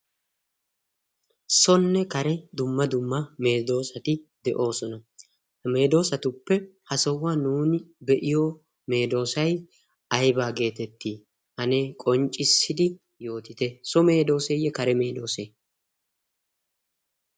sonne kare dumma dumma meedoosati de7oosona hameedoosatuppe ha sohuwan nuuni be7iyo meedoosai aibaa geetettii anee qonccissidi yootite so meedooseeyye kare meedoosee